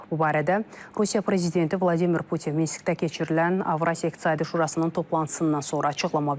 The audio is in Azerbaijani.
Bu barədə Rusiya prezidenti Vladimir Putin Minskdə keçirilən Avrasiya İqtisadi Şurasının toplantısından sonra açıqlama verib.